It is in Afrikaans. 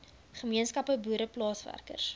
gemeenskappe boere plaaswerkers